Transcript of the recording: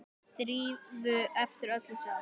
Drífu eftir öll þessi ár.